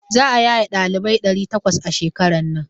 Za a yaye ɗalibai ɗari takwas a shekaran nan.